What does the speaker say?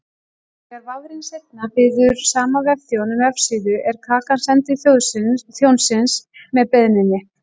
Þegar vafrinn seinna biður sama vefþjón um vefsíðu er kakan send til þjónsins með beiðninni.